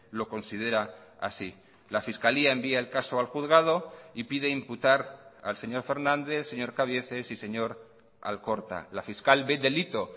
lo considera así la fiscalía envía el caso al juzgado y pide imputar al señor fernández señor cabieces y señor alcorta la fiscal ve delito